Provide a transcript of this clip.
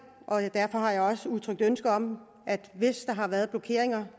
derfor har jeg også udtrykt ønske om at hvis der har været blokeringer